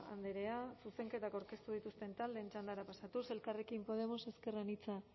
andrea zuzenketak aurkeztu dituzten taldeen txandara pasatuz elkarrekin podemos ezker anitza